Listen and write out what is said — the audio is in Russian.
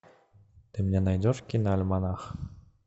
ты мне найдешь киноальманах